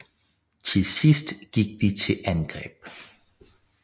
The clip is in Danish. Til sidst gik de til angreb